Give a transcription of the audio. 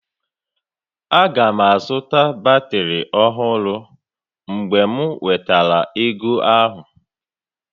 Aga m azụta batrị ọhụrụ mgbe m nwetara ego ahụ